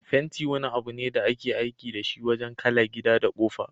Fenti wani abune da ake aiki dashi wajan kala gida da ƙofa.